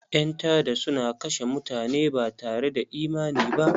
Ƴan tada suna kashe mutane batare da imani ba..